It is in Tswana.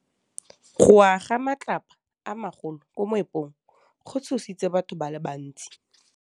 Go wa ga matlapa a magolo ko moepong go tshositse batho ba le bantsi.